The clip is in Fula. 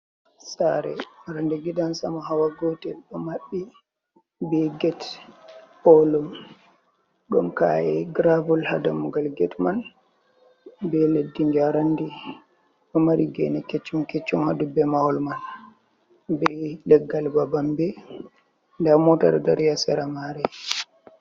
Sare randi gidan samo hawa gotel ɗo maɓɓi be get olum ɗon ka’e gravel ha dammugal get man be leddi njerandi ɗo mari gene keccum keccum ha dubbe mahol man be leggal babambe nda mota ɗo dari ha sera mare.